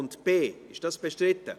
Darüber haben wir abgestimmt.